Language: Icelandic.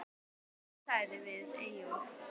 Hún sagði við Eyjólf